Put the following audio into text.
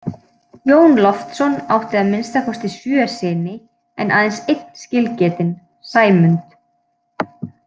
Jón Loftsson átti að minnsta kosti sjö syni en aðeins einn skilgetinn, Sæmund.